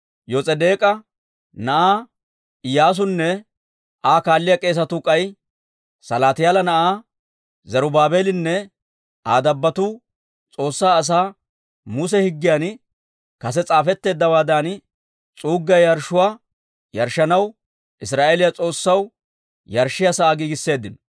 Yos'edeek'a na'aa Iyyaasunne Aa kaaliyaa k'eesatuu k'ay Salaatiyaala na'aa Zarubaabeelinne Aa dabbotuu S'oossaa asaa Muse higgiyan kase s'aafetteeddawaadan s'uuggiyaa yarshshuwaa yarshshanaw, Israa'eeliyaa S'oossaw yarshshiyaa sa'aa giigisseeddino.